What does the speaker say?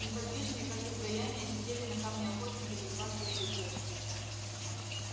неподвижные как изваяния сидели на камне охотники за сладкой клюквой